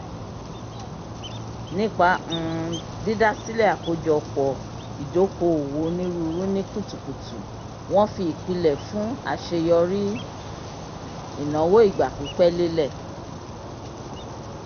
nipa um dídásílẹ̀ àkójọpọ̀ ìdòko-òwò onírúurú ni kùtùkùtù wọn fi ìpìlẹ̀ l fun aṣeyọri ìnáwó ìgbà-pípẹ́ lelẹ